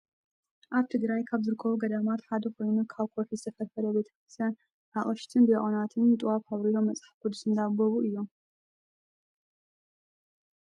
ኣብ ትግራይ ካብ ዝርከቡ ገዳማት ሓደ ኮይኑ ካብ ኮውሒ ዝተፈልፈለ ቤተ ክርስትያን ኣቀሽሽትን ዳቆናትን ጥዋፍ ኣብርሆም መፅሓፍ ቅዱስ እንዳንበቡ እዮም።